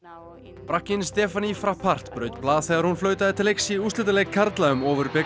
frakkinn Stephanie Frappart braut blað þegar hún flautaði til leiks í úrslitaleik karla um